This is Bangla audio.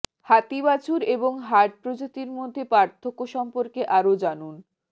হাতি বাছুর এবং হার্ট প্রজাতির মধ্যে পার্থক্য সম্পর্কে আরও জানুন